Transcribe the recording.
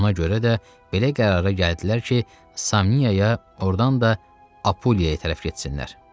Ona görə də belə qərara gəldilər ki, Samniyaya ordan da Apuliyaya tərəf getsinlər.